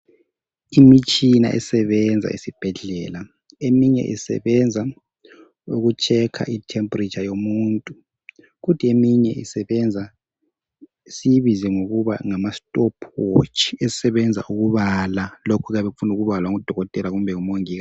Imitshina esebenza esibhedlela eminye isebenza ukutshekha i temperature yomuntu kodwa eminye isebenza siyibize ngokuba ngamastopwatch isebenza ukubala lokhu okuyabe kufuna ukubalwa ngudokotela kumbe umongikazi.